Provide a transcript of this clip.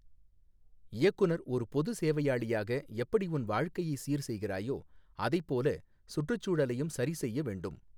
இயக்குனர் ஒரு பொது சேவையாளியாக எப்படி உன் வாழ்க்கையை சீர் செய்கிறாயோ அதைப்போல சுற்று சூழலையும் சரி செய்ய வேண்டும்.